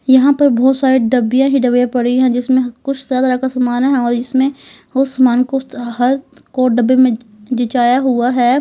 यहां पर बहुत सारे डब्बिया ही डब्बिया पड़ी हैं जिसमें कुछ तरह का समान है और इसमें बहुत सामान को हर को डब्बे में डिजाया हुआ है।